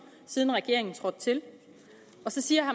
siden regeringen trådte til og så siger